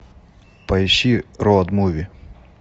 поищи роуд муви